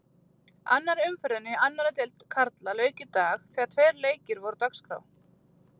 Annarri umferðinni í annarri deild karla lauk í dag þegar tveir leikir voru á dagskrá.